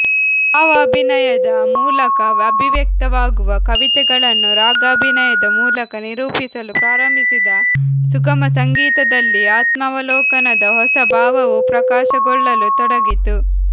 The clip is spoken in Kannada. ಭಾವಾಭಿನಯದ ಮೂಲಕ ಅಭಿವ್ಯಕ್ತವಾಗುವ ಕವಿತೆಗಳನ್ನು ರಾಗಾಭಿನಯದ ಮೂಲಕ ನಿರೂಪಿಸಲು ಪ್ರಾರಂಭಿಸಿದ ಸುಗಮಸಂಗೀತದಲ್ಲಿ ಆತ್ಮಾವಲೋಕನದ ಹೊಸ ಭಾವವೂ ಪ್ರಕಾಶಗೊಳ್ಳಲು ತೊಡಗಿತು